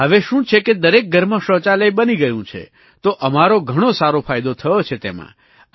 હવે શું છે કે દરેક ઘરમાં શૌચાલય બની ગયું છે તો અમારો ઘણો સારો ફાયદો થયો છે તેમાં